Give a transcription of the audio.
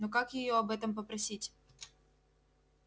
но как её об этом попросить